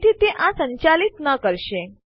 તેથી તે આ સંચાલિત ન કરશે